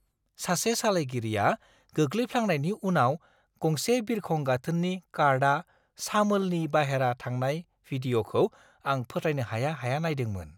सासे सालायगिरिया गोग्लैफ्लांनायनि उनाव गंसे बिरखं गाथोननि कार्टआ सामोलनि बाहेरा थांनाय वीडिय'खौ आं फोथायनो हाया-हाया नायदोंमोन।